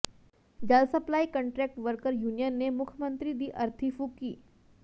ਜਲ supply contract worker union ਨੇ ਮੁੱਖ ਮੰਤਰੀ ਦੀ ਅਰਥੀ ਫੂਕੀ